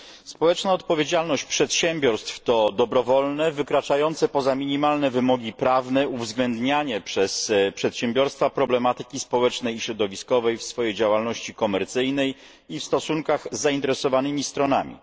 Społeczna odpowiedzialność przedsiębiorstw to dobrowolne, wykraczające poza minimalne wymogi prawne uwzględnianie przez przedsiębiorstwa problematyki społecznej i środowiskowej w swojej działalności komercyjnej i w stosunkach z zainteresowanymi stronami.